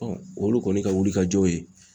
olu kɔni ka wulikajɔ ye